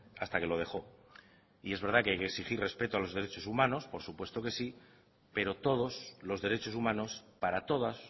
hasta que lo dejó y es verdad que hay que exigir respecto a los derechos humanos por supuesto que sí pero todos los derechos humanos para todas